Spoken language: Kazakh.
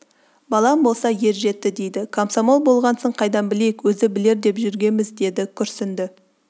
балаң болса ержетті дейді комсомол болғасын қайдан білейік өзі білер деп жүргенбіз деді күрсінді